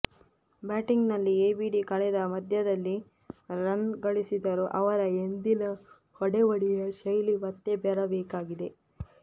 batting ನಲ್ಲಿ ABD ಕಳೆದ ಪಂದ್ಯದಲ್ಲಿ ರನ್ ಗಳಿಸಿದರೂ ಅವರ ಎಂದಿನ ಹೊಡೆಬಡಿಯ ಶೈಲಿ ಮತ್ತೆ ಬರಬೇಕಿದೆ